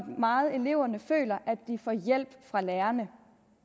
meget eleverne føler at de får hjælp fra lærerne